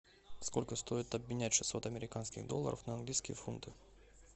сколько стоит обменять шестьсот американских долларов на английские фунты